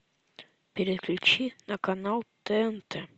переключи на канал тнт